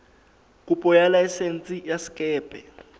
kopo ya laesense ya sekepe